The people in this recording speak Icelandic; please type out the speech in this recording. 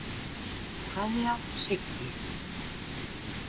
Kveðja, Siggi.